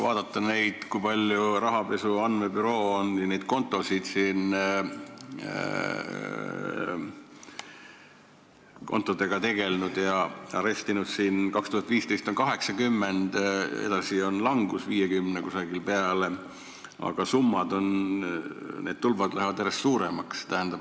Vaadake, kui palju rahapesu andmebüroo on nende kontodega tegelenud ja neid arestinud: 2015. aastal 80, edasi on see langenud umbes 50 peale, aga summade tulbad lähevad järjest pikemaks.